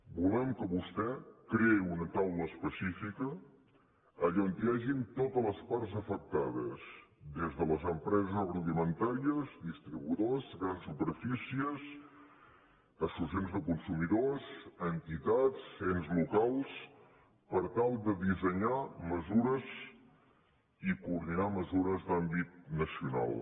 volem que vostè creï una taula específica on hi hagin totes les parts afectades des de les empreses agroalimentàries distribuï dors grans superfícies associacions de consumidors entitats ens locals per tal de dissenyar mesures i coordinar mesures d’àmbit nacional